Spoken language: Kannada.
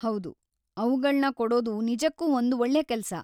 ಹೌದು, ಅವ್ಗಳ್ನ ಕೊಡೋದು ನಿಜಕ್ಕೂ ಒಂದ್ ಒಳ್ಳೆ ಕೆಲ್ಸ.